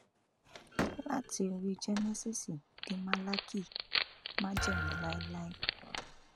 láti orí jẹnẹsíìsì dé málákì májẹmú láéláé